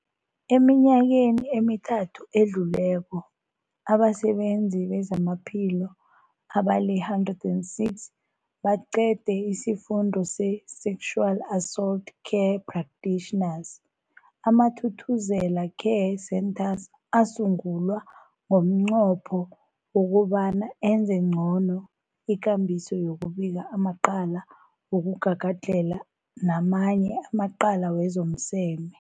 Eminyakeni emithathu edluleko, abasebenzi bezamaphilo abali-106 baqede isiFundo se-Sexual Assault Care Practitioners. AmaThuthuzela Care Centres asungulwa ngomnqopho wokobana enze ngcono ikambiso yokubika amacala wokugagadlhela namanye amacala wezomseme.